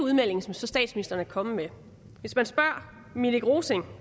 udmelding som statsministeren er kommet med hvis man spørger minik rosing